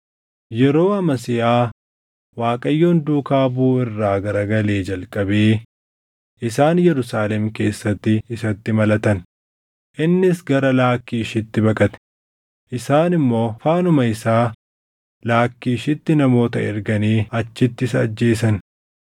Yeroo Amasiyaa Waaqayyoon duukaa buʼuu irraa garagalee jalqabee isaan Yerusaalem keessatti isatti malatan; innis gara Laakkiishitti baqate; isaan immoo faanuma isaa Laakkiishitti namoota erganii achitti isa ajjeesan.